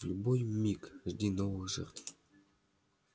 в любой миг жди новых жертв